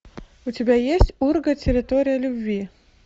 у тебя есть урга территория любви